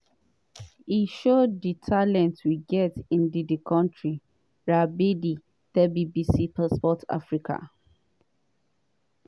“e show di talent we get in di di kontri” radebe tell bbc sport africa.